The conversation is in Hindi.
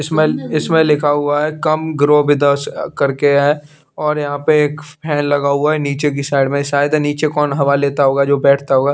इसमें लिखा हुआ है come come grow with us करके है और यहाँ पे एक फॅन लगा हुआ निचे की साइड में शायद निचे कोन हवा लेता होगा जो बेठता होगा।